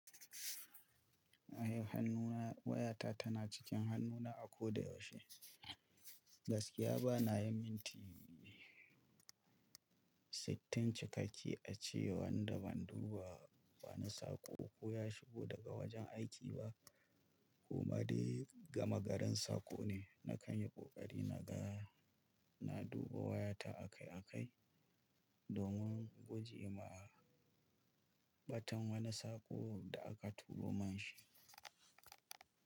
Hannuna wayata tana cikin hannuna a ko da yaushe. Gaskiya bana yin minti sittin cikakke a ce wanda ban duba wani saƙo ko ya shigo daga wajen aiki ba. Kuma dai gama garin saƙo ne, na kan yi ƙoƙari na ga, na duba wayata akai-akai domin guje ma batan wani sako da aka turo man shi.